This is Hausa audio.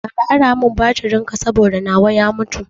Ka ara mun batirin ka saboda nawa ya mutu